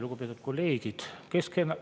Lugupeetud kolleegid!